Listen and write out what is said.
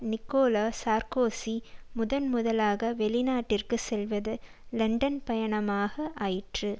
Nicolas Sarkozy முதன் முதலாக வெளிநாட்டிற்கு செல்வது லண்டன் பயணமாக ஆயிற்று